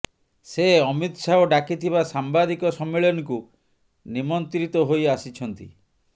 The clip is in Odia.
ସେ ଅମିତ ଶାହ ଡାକିଥିବା ସାମ୍ବାଦିକ ସମ୍ମିଳନୀକୁ ନିମନ୍ତ୍ରିତ ହୋଇ ଆସିଛନ୍ତି